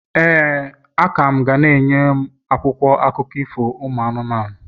ee, a ka m ga na-enye m akwụkwọ akụkọ ifo anụmanụ.